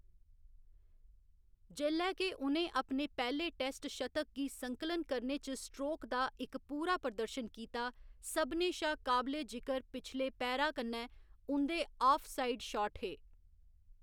जेल्लै के उ'नें अपने पैह्‌‌‌ले टेस्ट शतक गी संकलन करने च स्ट्रोक दा इक पूरा प्रदर्शन कीता, सभनें शा काबले जिकर पिछले पैरा कन्नै उं'दे आफ साइड शाट हे।